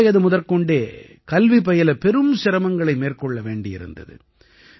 சிறுவயது முதற்கொண்டே கல்வி பயில பெரும் சிரமங்களை மேற்கொள்ள வேண்டியிருந்தது